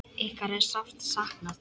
Ykkar er sárt saknað.